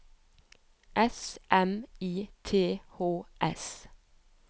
S M I T H S